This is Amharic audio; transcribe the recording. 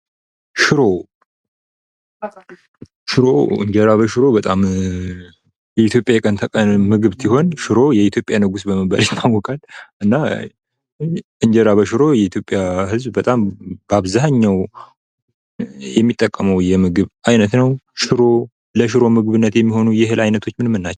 ሽሮ እንጀራ በሽሮ በጣም የኢትዮጵያ የቀን ተቀን ምግብ ሲሆን፤ ሽሮ የኢትዮጵያ ንጉስ በመባል ይታወቃል እና እንጀራ በሽሮ የኢትዮጵያ ህዝብ በጣም በአብዛኛው የሚጠቀመው የምግብ አይነት ነው። ለሽሮ ምግብነት የሚሆኑ የእህል አይነቶች ምን ምን ናቸው?